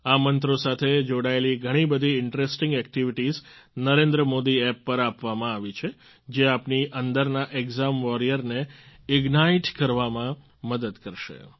આ મંત્રો સાથે જોડાયેલી ઘણીબધી interesting activities Narendra Modi app પર આપવામાં આવી છે જે આપની અંદરના એક્ઝામ વોરિયરને ઇગ્નાઇટ કરવામાં મદદ કરશે